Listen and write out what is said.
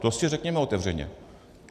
To si řekněme otevřeně.